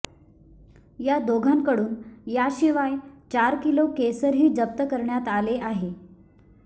या दोघांकडून याशिवाय चार किलो केशरही जप्त करण्यात आले आहे